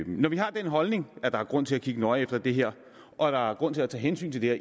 når vi har den holdning at der er grund til at kigge nøje på det her og at der er grund til at tage hensyn til det